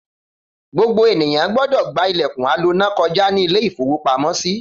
Gbogbo ènìyàn gbọdọ̀ gba ilẹ̀kùn aloná koja ní ilé-ìfowópamọ́sí.